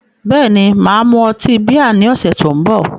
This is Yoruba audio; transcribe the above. Bẹ́ẹ̀ni, mà á mu ọtí bíà ní ọ̀sẹ̀ tó ń bọ̀